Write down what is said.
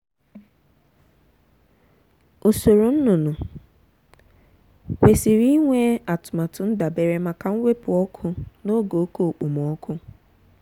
usoro nnụnụ kwesiri inwe atụmatụ ndabere maka mwepu ọkụ n’oge oke okpomọkụ.